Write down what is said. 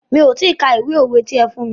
Mi ò ti ka ìwé òwe ti ẹ fún mí.